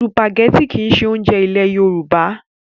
Sùpàgẹ́tì kìí ṣe oúnjẹ ilẹ̀ Yorùbá.